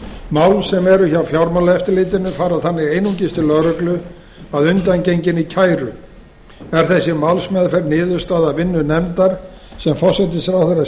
mál sem eru hjá fjármálaeftirlitinu fara þannig einungis til lögreglu að undangenginni kæru er þessi málsmeðferð niðurstaða af vinnu nefndar sem forsætisráðherra